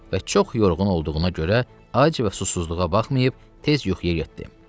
Və çox yorğun olduğuna görə ac və susuzluğuna baxmayıb tez yuxuya getdi.